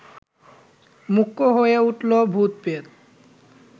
মুখ্য হয়ে উঠল ভূত-প্রেত!